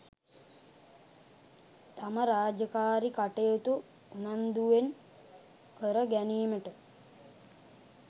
තම රාජකාරි කටයුතු උනන්දුවෙන් කර ගැනීමට